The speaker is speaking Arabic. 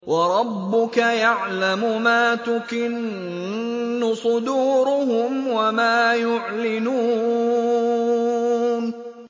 وَرَبُّكَ يَعْلَمُ مَا تُكِنُّ صُدُورُهُمْ وَمَا يُعْلِنُونَ